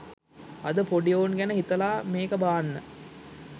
අද පොඩි එවුන් ගැන හිතලා මේක බාන්න.